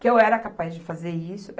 Que eu era capaz de fazer isso.